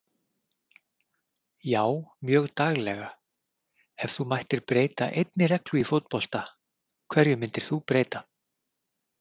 Já mjög daglega Ef þú mættir breyta einni reglu í fótbolta, hverju myndir þú breyta?